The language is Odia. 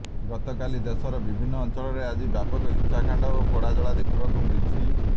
ଗତକାଲି ଦେଶର ବିଭିନ୍ନ ଅଂଚଳରେ ଆଜି ବ୍ୟାପକ ହିଂସାକାଣ୍ଡ ଓ ପୋଡଜଳା ଦେଖିବାକୁ ମିଳିଛି